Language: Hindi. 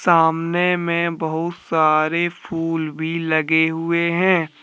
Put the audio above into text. सामने में बहुत सारे फूल भी लगे हुए हैं।